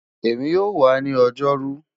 Emi yoo wa ni Ojoru